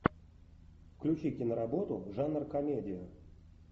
включи киноработу жанр комедия